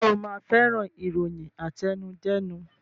Ṣe o ma fẹ́ràn ìròyìn àtẹnudẹ́nu